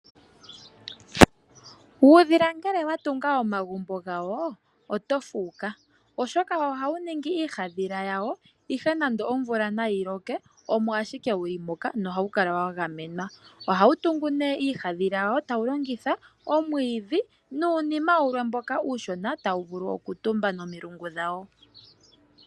Uudhila ngele watunga omagumbo gawo oto fuuka oshoka ohawu ningi iihaandhila yawo ihe nande omvula nayi loke omo ashike wulu moka nohawu kala wagamenwa. Ohawu tungu iihaandhila yawo tawu longitha omwiidhi nuunima wulwe mboka uushona tawu vulu okutumba nomilungu dhawo.